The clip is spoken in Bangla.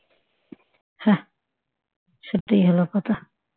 হ্যাঁ সেটাই হল কথা